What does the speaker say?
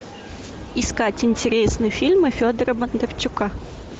искать интересные фильмы федора бондарчука